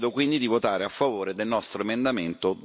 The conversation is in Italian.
Vi chiedo quindi di votare a favore del nostro emendamento